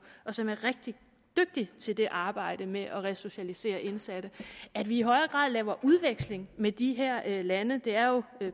som er rigtig dygtig til det arbejde med at resocialisere indsatte i højere grad laver udveksling med de her lande det er jo